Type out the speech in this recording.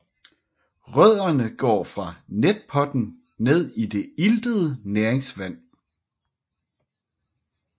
Rødderne går fra netpotten ned i det iltede næringsvand